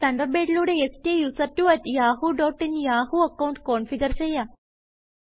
തണ്ടർബേഡിലൂടെ STUSERTWOyahoo dot in Yahoo account configure ചെയ്യാം